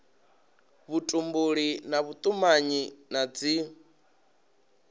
vhutumbuli na vhutumanyi na dzi